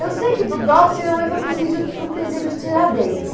Eu sei que do Dops minha mãe foi para o presídio para o presídio Tiradentes.